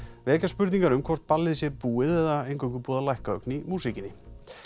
vekja spurningar um hvort ballið sé búið eða eingöngu búið að lækka ögn í músíkinni